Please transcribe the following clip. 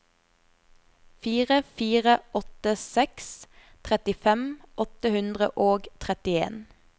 fire fire åtte seks trettifem åtte hundre og trettien